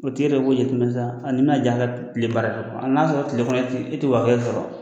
O tɛ yɛrɛ bolo ye i kun na sa, ni bɛ na diya na ka kile baara kɛ a n'a sɔrɔ tilekɔnɔ ten e tɛ waa kelen sɔrɔ.